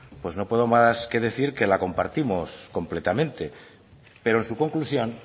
pues no puede más que decir que la compartimos completamente pero en su conclusión